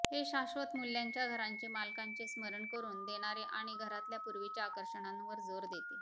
हे शाश्वत मूल्यांच्या घरांचे मालकांचे स्मरण करून देणारे आणि घरातल्या पूर्वीच्या आकर्षणांवर जोर देते